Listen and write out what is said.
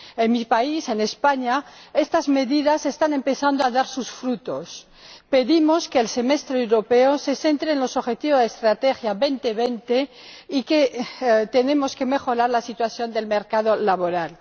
En mi país —en España— estas medidas están empezando a dar sus frutos. Pedimos que el Semestre Europeo se centre en los objetivos de la Estrategia Europa 2020 y tenemos que mejorar la situación del mercado laboral.